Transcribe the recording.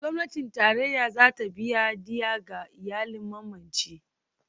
Gwamnatin Tarayya za ta biya diyya ga iyalan mamacin.